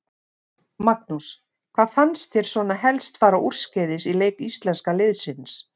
Magnús: Hvað fannst þér svona helst fara úrskeiðis í leik íslenska liðsins?